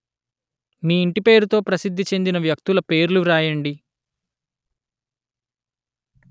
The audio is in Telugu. మీ ఇంటి పేరుతో ప్రసిద్ధి చెందిన వ్యక్తుల పేర్లు వ్రాయండి